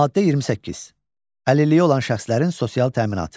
Maddə 28: Əlilliyi olan şəxslərin sosial təminatı.